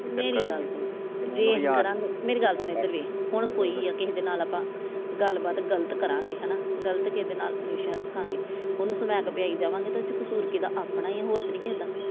ਹੁਣ ਕੋਈ ਆ ਕਿਸੇ ਦੇ ਨਾਲ ਆਪਾ ਗੱਲਬਾਤ ਗੱਲਤ ਕਰਾਂਗੇ ਹਣਾ ਗੱਲਤ ਕਿਸੇ ਨਾਲ ਰਿਲੇਸ਼ਨ ਰੱਖਾਂਗੇ ਉਹਨੂੰ ਸਮੈਕ ਪਿਆਈ ਜਾਵਾਗੇ ਤੇ ਉਦੇ ਚ ਕਸੂਰ ਕਿਹਦਾ ਆਪਣਾ ਈ ਆ ।